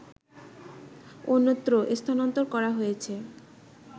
অন্যত্র স্থানান্তর করা হয়েছে